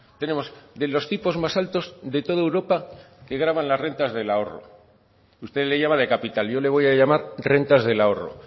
tenemos de los tipos más altos de toda europa que gravan las rentas del ahorro usted le llama de capital yo le voy a llamar rentas del ahorro